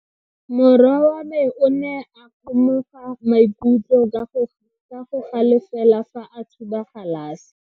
Morwa wa me o ne a kgomoga maikutlo ka go galefa fa a thuba galase.